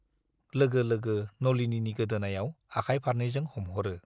लोगो लोगो नलिनीनि गोदोनायाव आखाय फारनैजों हमहरो।